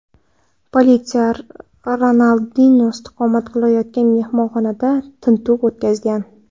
Politsiya Ronaldinyo istiqomat qilayotgan mehmonxonada tintuv o‘tkazgan.